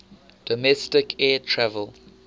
domestic air travel